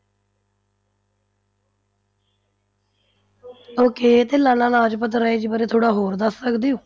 Okay ਤੇ ਲਾਲਾ ਲਾਜਪਤ ਰਾਏ ਜੀ ਬਾਰੇ ਥੋੜ੍ਹਾ ਹੋਰ ਦੱਸ ਸਕਦੇ ਹੋ।